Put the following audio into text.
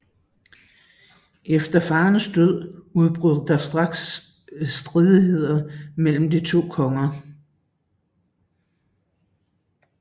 Efter farens død udbrød der straks stridheder mellem de to konger